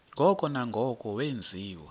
ngoko nangoko wenziwa